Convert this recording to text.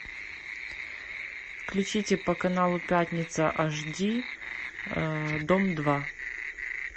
включите по каналу пятница аш ди дом два